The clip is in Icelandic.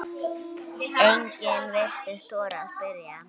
Enginn virtist þora að spyrja